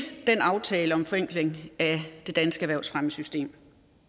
aftalen om en forenkling af det danske erhvervsfremmesystem